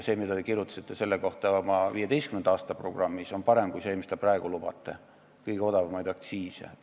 See, mida te kirjutasite selle kohta oma 2015. aasta programmis, on parem kui see, mida te praegu lubate – kõige odavamaid aktsiise.